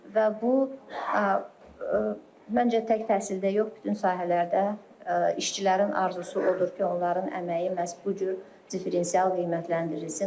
Və bu məncə tək təhsildə yox, bütün sahələrdə işçilərin arzusu odur ki, onların əməyi məhz bu cür diferensial qiymətləndirilsin.